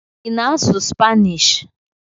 Ị na-asụ Spanishi?